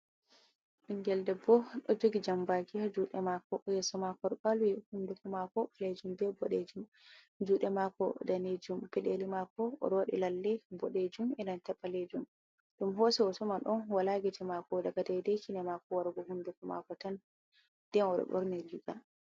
Ɓingel debbo utik jambakia jude mako yasomakor balwi hunduku mako lejin be bodejin jude mako danijum fideli mako rodi lalle bodejum ilan ta balejum dum hose woto man ɗon wala giti mako daga daidaikine mako wargo hunduku mako tan dyn rdorne juda.